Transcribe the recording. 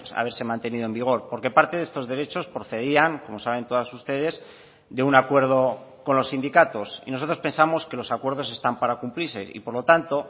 haberse mantenido en vigor porque parte de estos derechos procedían como saben todas ustedes de un acuerdo con los sindicatos y nosotros pensamos que los acuerdos están para cumplirse y por lo tanto